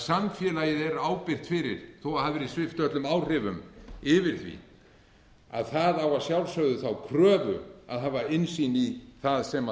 samfélagið er ábyrgt fyrir því þó að það hafi verið svipt öllum völdum yfir því en það á að sjálfsögðu þá kröfu að hafa innsýn í það sem